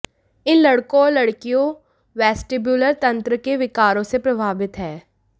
इन लड़कों और लड़कियों वेस्टिब्युलर तंत्र के विकारों से प्रभावित हैं